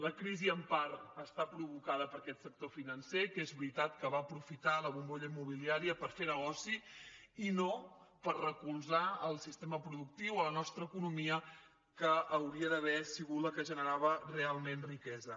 la crisi en part està provocada per aquest sector financer que és veritat que va aprofitar la bombolla immobiliària per fer negoci i no per recolzar el sistema productiu a la nostra economia que hauria d’haver sigut la que generava realment riquesa